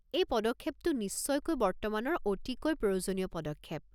এই পদক্ষেপটো নিশ্চয়কৈ বৰ্তমানৰ অতিকৈ প্ৰয়োজনীয় পদক্ষেপ।